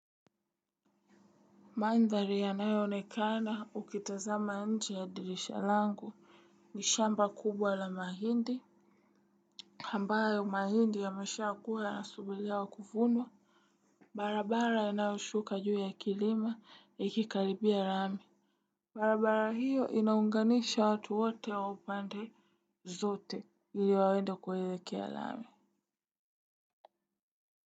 Mandhari yanayo onekana ukitazama nche ya dirisha langu. Ni shamba kubwa la mahindi ambayo mahindi yameshakuwa yanasubiria kuvunwa barabara inayoshuka juu ya kilima inayokaribia lami. Barabara hiyo inaunganisha watu wote wa upande zote ili wawendo kuhitikea rame.